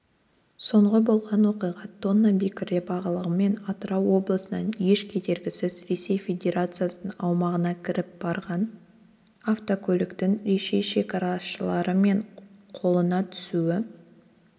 соңғы болған оқиға тонна бекіре балығымен атырау облысынан еш кедергісіз ресей федерациясының аумағына кіріп барған автокөліктің ресей шекарашылары мен қолына түсуі